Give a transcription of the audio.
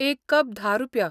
एक कप धा रुपया.